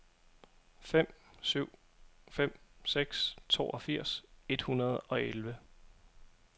fem syv fem seks toogfirs et hundrede og elleve